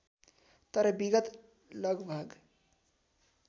तर विगत लगभग